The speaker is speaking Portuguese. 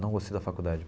Não gostei da faculdade.